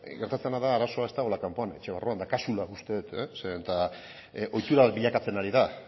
gertatzen dena da arazoa ez dagoela kanpoan etxe barruan daukazula uste dut zeren eta ohitura bilakatzen ari da